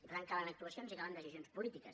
i per tant calen actuacions i calen decisions polítiques